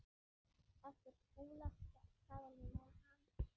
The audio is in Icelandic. eftir Skúla Sæland